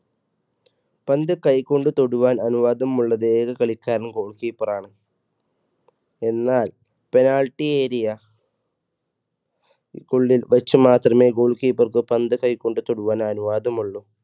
പന്ത് കൈകൊണ്ട് തൊടുവാൻ അനുവാദം ഉള്ള ഏക കളിക്കാരൻ goal keeper ആണ് എന്നാൽ penalty area ഉള്ളിൽ വച്ച് മാത്രമേ goal keeper ക്ക് പന്ത് കൈ കൊണ്ട് തൊടുവാൻ അനുവാദമുള്ളൂ.